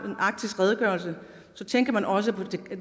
en arktisk redegørelse tænker man også på